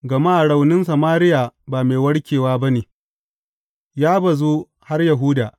Gama raunin Samariya ba mai warkewa ba ne; ya bazu har Yahuda.